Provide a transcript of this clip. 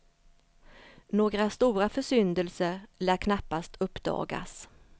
Några stora försyndelser lär knappast uppdagas.